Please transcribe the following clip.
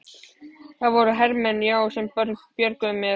Það voru hermenn, já, sem björguðu mér.